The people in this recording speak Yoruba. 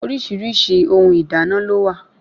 Oríṣiríṣi ohun ìdáná lówà